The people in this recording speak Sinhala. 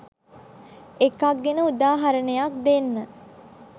එකක් ගැන උදාහරණයක් දෙන්න.